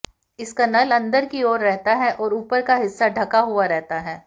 इसका नल अंदर की ओर रहता है और ऊपर का हिस्सा ढंका हुआ रहता है